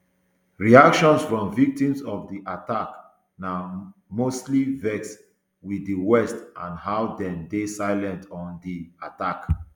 reactions from victims of di attack na mostly vex wit di west and how dem dey silent oa di attack